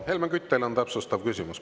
Helmen Kütt, teil on täpsustav küsimus.